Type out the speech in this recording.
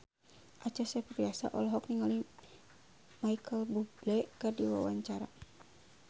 Acha Septriasa olohok ningali Micheal Bubble keur diwawancara